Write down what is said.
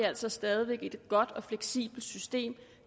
altså stadig væk et godt og fleksibelt system